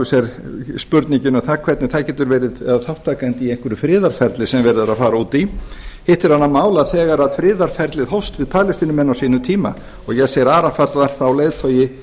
sér spurningin um það hvernig það getur verið þátttakandi í einhverju friðarferlið sem verið er að fara út í hitt er annað mál að þegar friðarferlið hófst við palestínumenn á sínum tíma og yasser arafat var þá leiðtogi